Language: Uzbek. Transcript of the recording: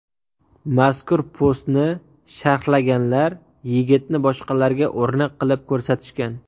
Mazkur postni sharhlaganlar yigitni boshqalarga o‘rnak qilib ko‘rsatishgan.